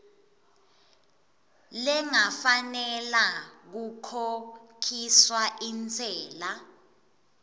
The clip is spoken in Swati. lengafanela kukhokhiswa intsela